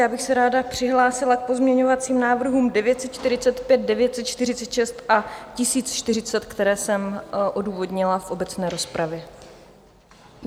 Já bych se ráda přihlásila k pozměňovacím návrhům 945, 946 a 1040, které jsem odůvodnila v obecné rozpravě.